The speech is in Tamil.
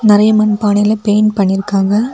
நெறைய மண்பானைங்குள பெயிண்ட் பண்ணிருக்காங்க.